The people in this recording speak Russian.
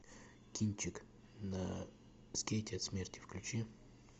кинчик на скейте от смерти включи